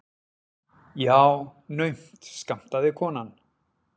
Já, naumt skammtaði konan.